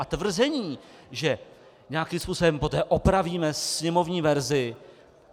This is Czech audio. A tvrzení, že nějakým způsobem poté opravíme sněmovní verzi?